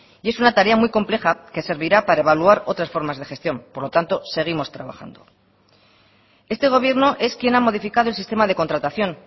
y es una tarea muy compleja que servirá para evaluar otras formas de gestión por lo tanto seguimos trabajando este gobierno es quien ha modificado el sistema de contratación